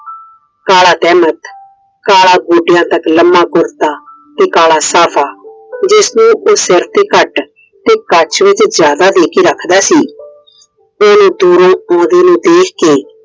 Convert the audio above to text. ਕਾਲ ਤੇਹਮਤ ਕਾਲਾ ਗੋਡਿਆਂ ਤੱਕ ਲੰਮਾ ਕੁੜਤਾ ਤੇ ਕਾਲਾ ਸਾਫਾ। ਜਿਸ ਨੂੰ ਉਹ ਸਿਰ ਤੇ ਘੱਟ ਤੇ ਕੱਛ ਵਿੱਚ ਜਿਆਦਾ ਦੇ ਕੇ ਰੱਖਦਾ ਸੀ। ਦੂਰੋਂ ਦੂਰੋਂ ਉਹਂਦੇ ਵੱਲ ਦੇਖ ਕੇ